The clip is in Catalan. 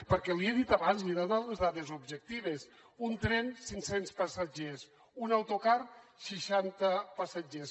perquè li he dit abans li he donat les dades objectives un tren cinccents passatgers un autocar seixanta passatgers